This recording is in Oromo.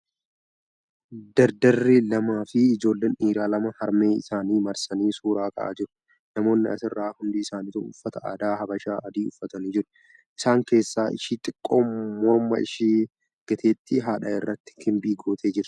Dardarrii lamaa fi ijoolleen dhiiraa lama harmee isaanii marsanii suuraa ka'aa jiru. Namoonni asirraa hundi isaanituu uffata aadaa Habashaa adii uffatanii jiru. Isaan keessa ishee xiqqoon morma ishee gateetti haadhaa irratti kimbil gootee jirti.